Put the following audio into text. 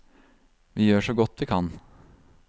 Vi gjør så godt vi kan.